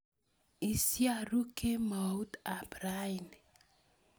Isiarue kemout ap rani